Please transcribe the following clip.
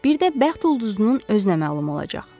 Bir də bəxt ulduzunun özünə məlum olacaq.